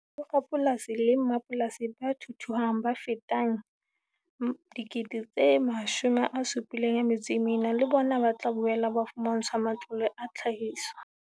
Borapolasi le mmapolasi ba thuthuhang ba fetang 74 000 le bona ba tla boela ba fumantshwa matlole a tlhahiso.